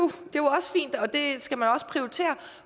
er og det skal man også prioritere